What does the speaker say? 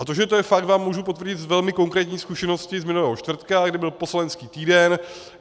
A to, že to je fakt, vám můžu potvrdit z velmi konkrétní zkušenosti z minulého čtvrtka, kdy byl poslanecký týden.